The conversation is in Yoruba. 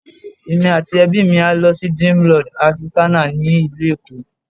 Èmi àti ẹbí mi a lọ sí Dreamworld Africana ni ìlú Èkó.